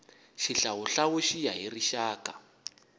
xihlawuhlawu ku ya hi rixaka